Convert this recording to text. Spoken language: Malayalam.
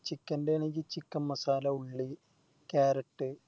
Chicken ൻറെ ആണെങ്കി Chicken masala ഉള്ളി Carrot